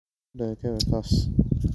Lakamayabo in Otieno kuriga oo kutakto?